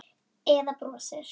Eða brosið?